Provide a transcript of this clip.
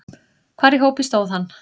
Hvar í hópi stóð hann?